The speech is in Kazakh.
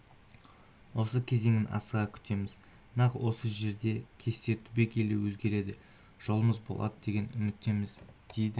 осы кезеңін асыға күтеміз нақ осы жерде кесте түбегейлі өзгереді жолымыз болады деген үміттеміз деді